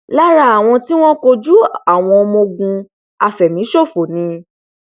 lára àwọn t ìwọn kojú àwọn ọmọ ogun àfẹmíṣòfò ni